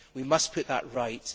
We must put that right.